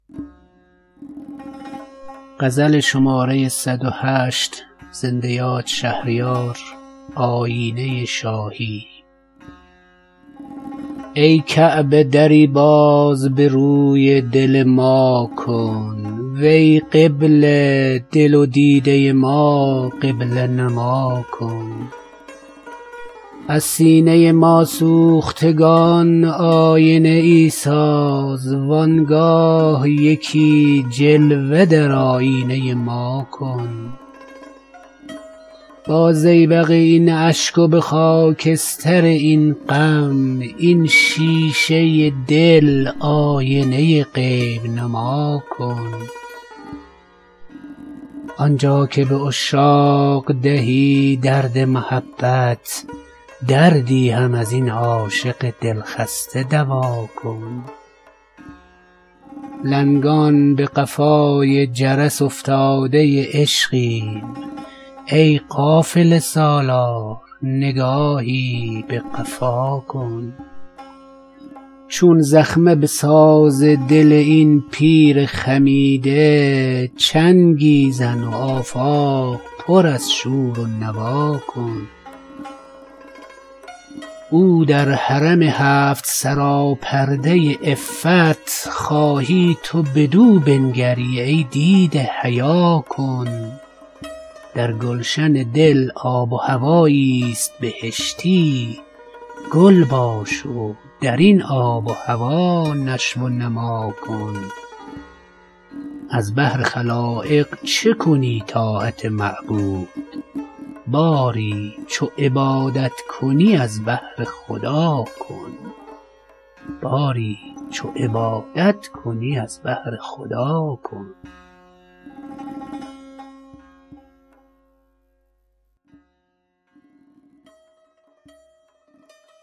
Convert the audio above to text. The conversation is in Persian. ای کعبه دری باز به روی دل ما کن وی قبله دل و دیده ما قبله نما کن از سینه ما سوختگان آینه ای ساز وانگاه یکی جلوه در آیینه ما کن با زیبق این اشک و به خاکستر این غم این شیشه دل آینه غیب نما کن آنجا که به عشاق دهی درد محبت دردی هم از این عاشق دل خسته دوا کن لنگان به قفای جرس افتاده عشقیم ای قافله سالار نگاهی به قفا کن ناقوس سکوتی که در آفاق بلند است در گوش دل انگیز و دل خفته صدا کن چون زخمه به ساز دل این پیر خمیده چنگی زن و آفاق پر از شور و نوا کن ای دوست رها کرده به کام دل دشمن دشمن هم از این کینه دیرینه رها کن او در حرم هفت سرا پرده عفت خواهی تو بدو بنگری ای دیده حیا کن آیینه شاهی ست بر این صفه صفوت صوفی به ادب باش و به این صفه صفا کن در گلشن دل آب و هوایی است بهشتی گل باش و در این آب و هوا نشو و نما کن از بهر خلایق چه کنی طاعت معبود باری چو عبادت کنی از بهر خدا کن با خلق ریاکار کرم کن به مدارا ور خود به کرامت نتوانی به ریا کن یک شهر به خود یار کن از بهر دعایی وز حق طلب عفو دو عالم به دعا کن